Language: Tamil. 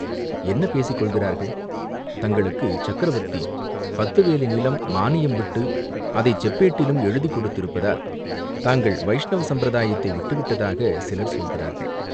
"என்ன பேசிக் கொள்கிறார்கள்?" "தங்களுக்குச் சக்கரவர்த்தி பத்து வேலி நிலம் மானியம் விட்டு அதைச் செப்பேட்டிலும் எழுதிக் கொடுத்திருப்பதால் தாங்கள் வைஷ்ணவ சம்பிரதாயத்தை விட்டுவிட்டதாகச் சிலர் சொல்கிறார்கள்.